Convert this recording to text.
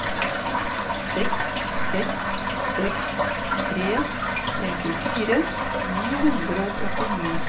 seks seks seks tre femtifire ni hundre og åttini